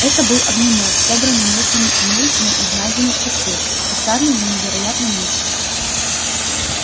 это был огнемёт собранный местными умельцами из найденных частей кустарный но невероятно мощный